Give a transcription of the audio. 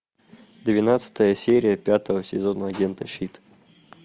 двенадцатая серия пятого сезона агенты щит